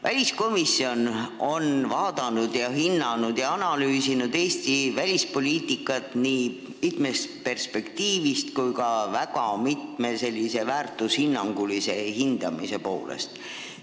Väliskomisjon on vaadanud, hinnanud ja analüüsinud Eesti välispoliitikat nii mitmest perspektiivist kui ka mitmetest väärtustest lähtuvalt.